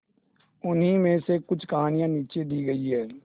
उन्हीं में से कुछ कहानियां नीचे दी गई है